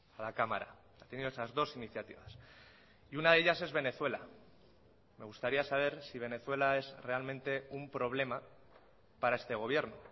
a la cámara ha tenido esas dos iniciativas y una de ellas es venezuela me gustaría saber si venezuela es realmente un problema para este gobierno